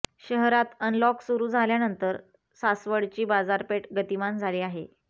शहरात अनलॉक सुरू झाल्यानंतर सासवडची बाजारपेठ गतीमान झाली आहे